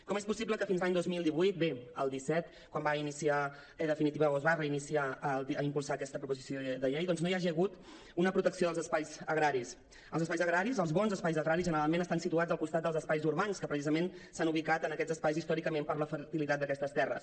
com és possible que fins l’any dos mil divuit bé el disset quan es va reiniciar i impulsar aquesta proposició de llei doncs no hi hagi hagut una protecció dels espais agraris els espais agraris els bons espais agraris generalment estan situats al costat dels espais urbans que precisament s’han ubicat en aquests espais històricament per la fertilitat d’aquestes terres